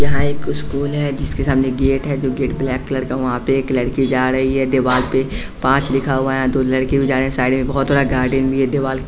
यहाँ एक स्कूल है जिसके सामने गेट है जो गेट ब्लैक कलर का वहाँ पे एक लड़के जा रही है देवाल पे पांच लिखा हुआ है तो लड़के जा रहे हैं साइड में बहुत थोड़ा गार्डन भी है दीवाल --